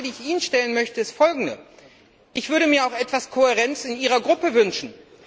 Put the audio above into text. Aber die Frage, die ich Ihnen stellen möchte, ist folgende Ich würde mir auch etwas Kohärenz in Ihrer Fraktion wünschen.